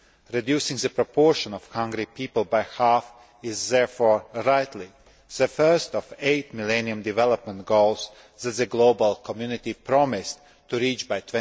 Reducing the proportion of hungry people by half is therefore, rightly, the first of eight Millennium Development Goals that the global community promised to reach by